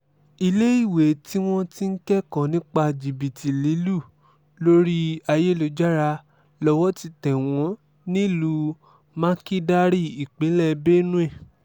iléèwé tí wọ́n ti ń kẹ́kọ̀ọ́ nípa jìbìtì lílù lórí ayélujára lowó ti tẹ̀ wọ́n nílùú makídarì ìpínlẹ̀ benue